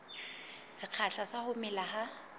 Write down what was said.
sekgahla sa ho mela ha